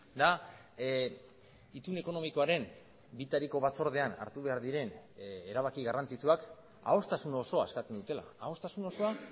da itun ekonomikoaren bitariko batzordean hartu behar diren erabaki garrantzitsuak adostasun osoa eskatzen dutela adostasun osoa